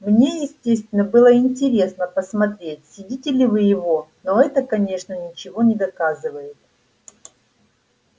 мне естественно было интересно посмотреть съедите ли вы его но это конечно ничего не доказывает